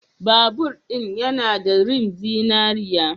Babur ɗin yana da rim zinariya.